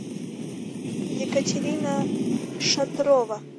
екатерина шатрова